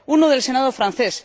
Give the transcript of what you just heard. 1 del Senado francés